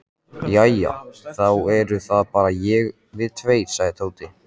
Jæja, þá eru það bara við tveir sagði Tóti.